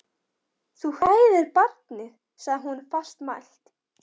Þú hræðir barnið, sagði hún fastmælt.